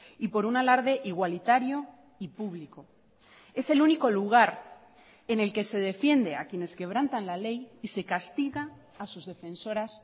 y por un alarde igualitario y público es el único lugar en el que se defiende a quienes quebrantan la ley y se castiga a sus defensoras